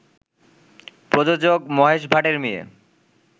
প্রযোজক মহেশ ভাটের মেয়ে